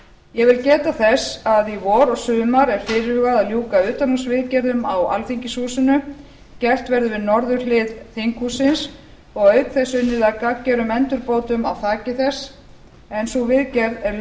ég vil geta þess að í vor og sumar er fyrirhugað að ljúka utanhússviðgerðum á alþingishúsinu gert verður við norðurhlið þinghússins og auk þess unnið að gagngerum endurbótum á þaki þess en sú viðgerð er löngu orðin tímabær